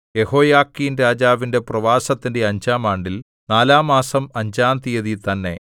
യെഹോയാഖീൻരാജാവിന്റെ പ്രവാസത്തിന്റെ അഞ്ചാം ആണ്ടിൽ നാലാംമാസം അഞ്ചാം തീയതി തന്നെ